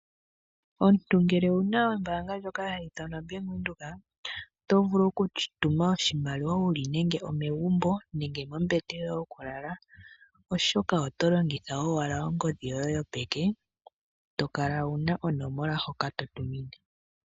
Omuntu ngele owuna ombaanga ndjoka hayi ithanwa Bank Windhoek. Oto vulu okutuma oshimaliwa wuli nenge omegumbo nenge mombete yoye yokulala, oshoka oto longitha owala ongodhi yoye yopeke to Kala wu na onomola hoka to tumine.